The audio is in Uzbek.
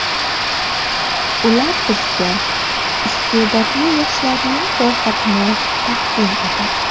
Ular bizga iste’dodli yoshlarning ro‘yxatini taqdim etadi.